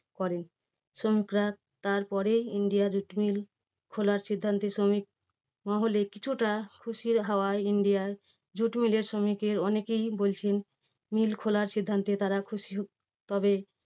করে। শ্রমিকরা তার পরে India jute mill খোলার সিদ্ধান্তে শ্রমিক মহলে কিছুটা খুশির হাওয়া India jute mill এর শ্রমিকের অনেকেই বলছেন, mill খোলার সিদ্ধান্তে তারা খুশি। তবে